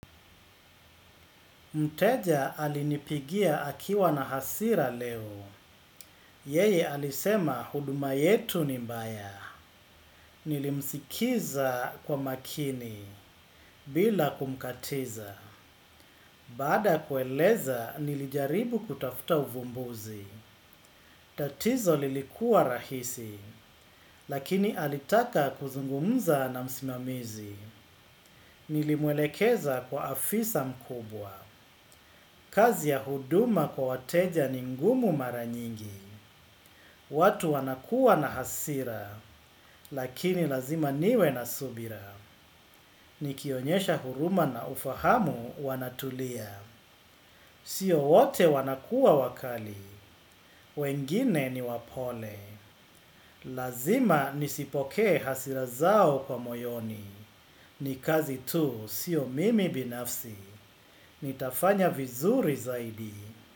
Mteja alinipigia akiwa na hasira leo yeye alisema huduma yetu ni mbaya. Nilimsikiza kwa makini bila kumkatiza. Baada ya kueleza nilijaribu kutafuta uvumbuzi. Tatizo lilikuwa rahisi lakini alitaka kuzungumza na msimamizi. Nilimwelekeza kwa afisa mkubwa. Kazi ya huduma kwa wateja ni ngumu mara nyingi. Watu wanakua na hasira, lakini lazima niwe na subira. Nikionyesha huruma na ufahamu wanatulia. Sio wote wanakua wakali, wengine ni wapole. Lazima nizipokee hasira zao kwa moyoni. Ni kazi tu sio mimi binafsi. Nitafanya vizuri zaidi.